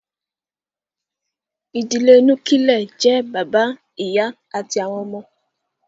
Ìdílé Núkílẹ̀ jẹ́ bàbá, ìyá àti àwọn ọmọ